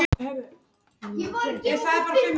Ég er nálægt mínu besta formi.